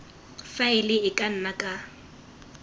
faele e ka nna ka